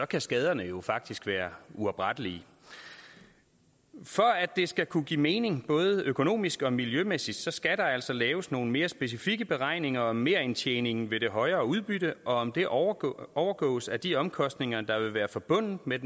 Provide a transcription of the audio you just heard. kan skaderne jo faktisk være uoprettelige for at det skal kunne give mening både økonomisk og miljømæssigt skal der altså laves nogle mere specifikke beregninger af merindtjeningen ved det højere udbytte og af om det overgås overgås af de omkostninger der vil være forbundet med